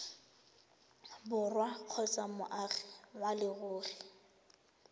borwa kgotsa moagi wa leruri